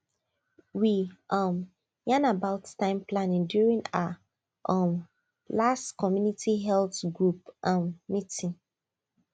we um yan about time planning during our um last community health group um meeting